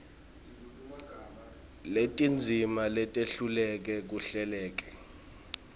netindzima letehlukene kuhleleke